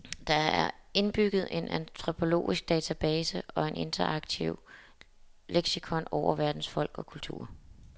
Der er indbygget en antropologisk database og interaktiv leksikon over verdens folk og kulturer.